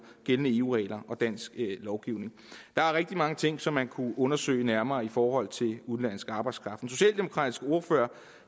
gældende eu regler og dansk lovgivning der er rigtig mange ting som man kunne undersøge nærmere i forhold til udenlandsk arbejdskraft den socialdemokratiske ordfører